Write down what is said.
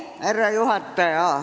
Härra juhataja!